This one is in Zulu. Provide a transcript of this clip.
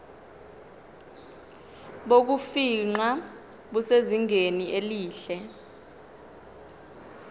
bokufingqa busezingeni elihle